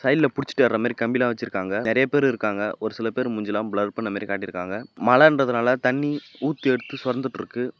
சைடுல புடிச்சுட்டு ஏருற மாரி கம்பி எல்லா வெச்சிருக்காங்க நெறைய பேர் இருக்காங்க ஒரு சில பேர் மூஞ்சில்லா ப்ளர் பண்ண மாதிரி காட்டிருக்காங்க மழன்றதுனால தண்ணி ஊத்தி எடுத்து சொரந்துட்ருக்கு.